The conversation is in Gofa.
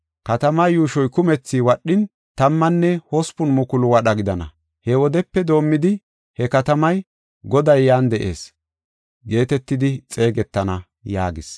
“Katamaa yuushoy kumethi wadhin, tammanne hospun mukulu wadha gidana. He wodepe doomidi he katamay, ‘Goday Yan De7ees’ geetetidi xeegetana” yaagees.